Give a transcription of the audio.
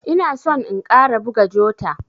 Ina son in ƙara buga jota.